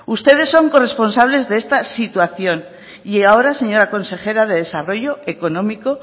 ustedes son corresponsables de esta situación y ahora señora consejera de desarrollo económico